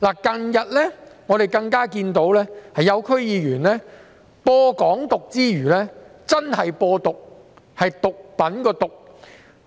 近日，我們更看到有些區議員在散播"港獨"之餘真正"播毒"——是毒品的"毒"。